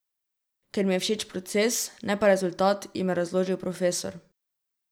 Ker mi je všeč proces, ne pa rezultat, jim je razložil profesor.